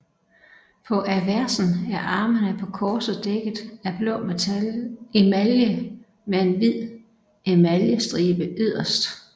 På aversen er armene på korset dækket af blå emalje med en hvid emaljestribe yderst